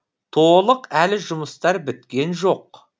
толық әлі жұмыстар біткен жоқ